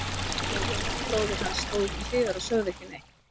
Pabbi og Jóhann bróðir hans stóðu til hliðar og sögðu ekki neitt.